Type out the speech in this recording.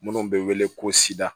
Minnu bɛ wele ko sida